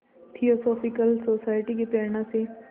theosophical society की प्रेरणा से